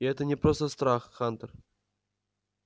и это не просто страх хантер